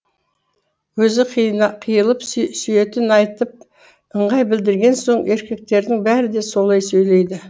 өзі қиылып сүйетінін айтып ыңғай білдірген соң еркектердің бәрі де солай сөйлейді